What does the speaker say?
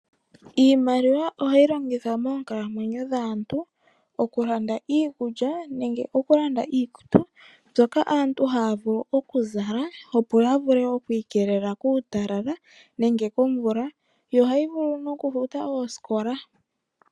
Iimaliwa ohayi longithwa moonkalamwenyo dhaantu, okulanda iikulya nenge oku landa iikutu mbyoka aantu haya vulu oku zala opo yi ikelele kuutalala, nenge komvula, yo ohayi vulu wo nokufuta oosikola.